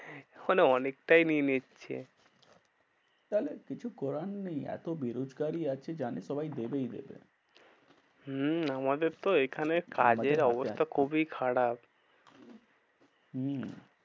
মানে অনেকটাই নিয়ে নিচ্ছে। তাহলে কিছু করার নেই এত বেরোজগাড়ি আছে জানে সবাই দেবেই দেবে। হম আমাদের তো এখানে কাজের অবস্থা খুবই খারাপ। হম